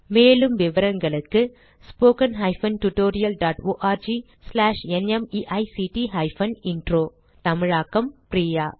மேலும் விவரங்களுக்கு 1 தமிழாக்கம் பிரியா